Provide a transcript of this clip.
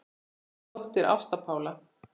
Þín dóttir, Ásta Pála.